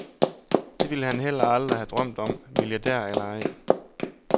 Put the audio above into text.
Det ville han heller aldrig have drømt om, milliardær eller ej.